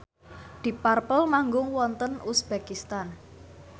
deep purple manggung wonten uzbekistan